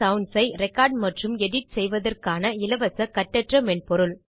sounds ஐ record மற்றும் edit செய்வதற்கான இலவச கட்டற்ற மென்பொருள்